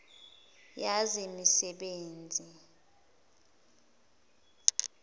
yezemisebenzi